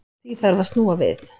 Því þarf að snúa við.